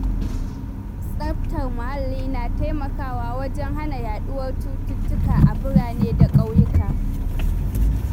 Tsaftar muhalli na taimakawa wajen hana yaɗuwar cututtuka a birane da ƙauyuka.